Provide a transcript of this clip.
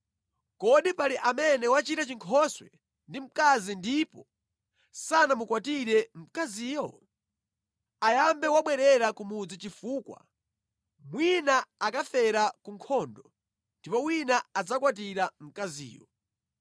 Kodi pali amene wachita chinkhoswe ndi mkazi ndipo sanamukwatire mkaziyo? Ayambe wabwerera ku mudzi chifukwa mwina akafera ku nkhondo ndipo wina adzakwatira mkaziyo.”